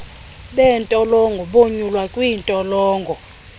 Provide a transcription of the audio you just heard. beentolongo bonyulwa kwiintolongo